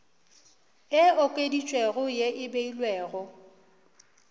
e okeditšwego ye e beilwego